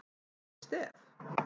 Óli Stef